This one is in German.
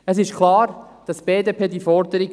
Es ist klar, die BDP unterstützt diese Forderung.